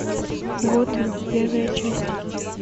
готэм первая часть